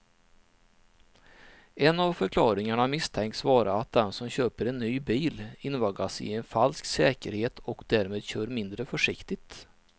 En av förklaringarna misstänks vara att den som köper en ny bil invaggas i en falsk säkerhet och därmed kör mindre försiktigt.